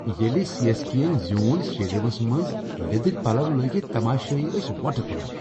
ییلِہ C. S. K ین زیون سٹیڈیمس منٛز لِدٕرۍ پلو لٲگِتھ تماشٲیی ٲسۍ وۄٹہٕ تلان۔